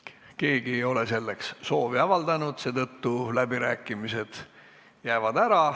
Keegi ei ole selleks soovi avaldanud, seetõttu jäävad läbirääkimised ära.